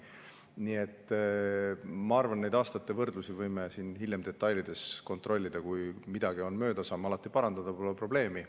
Nii et ma arvan, et neid aastate võrdlusi võime hiljem siin detailides kontrollida, kui midagi on läinud mööda, saame alati parandada, pole probleemi.